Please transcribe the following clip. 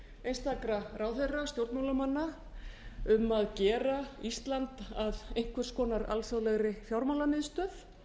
einstakra ráðherra stjórnmálamanna um að gera ísland að einhvers konar alþjóðlegri fjármálamiðstöð